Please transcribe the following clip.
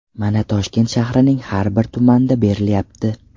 Mana Toshkent shahrining har bir tumanda berilyapti.